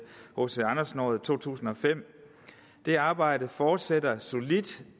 hc andersen året i to tusind og fem det arbejde fortsætter solidt